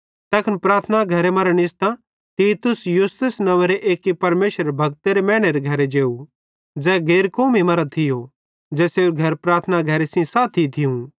तैखन प्रार्थना घरे मरां निस्तां तीतुस यूस्तुस नंव्वेरे एक्की परमेशरेरे भक्त मैनेरे घरे जेव ज़ै गैर कौमी मरां थियो ज़ेसेरू घर प्रार्थना घरे सेइं साथी थियूं